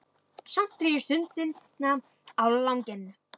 Samt dreg ég stundina á langinn.